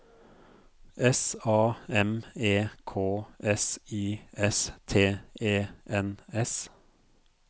S A M E K S I S T E N S